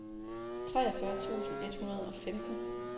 treogfyrre tusind et hundrede og femten